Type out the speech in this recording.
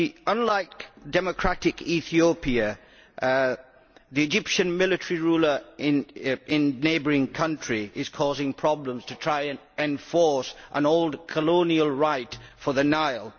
Unlike democratic Ethiopia, the Egyptian military ruler in the neighbouring country is causing problems by trying to enforce an old colonial right over the Nile.